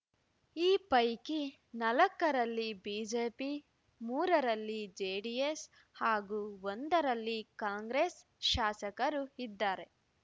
ಈ ಪೈಕಿ ನಾಲ್ಕರಲ್ಲಿ ಬಿಜೆಪಿ ಮೂರರಲ್ಲಿ ಜೆಡಿಎಸ್‌ ಹಾಗೂ ಒಂದರಲ್ಲಿ ಕಾಂಗ್ರೆಸ್‌ ಶಾಸಕರು ಇದ್ದಾರೆ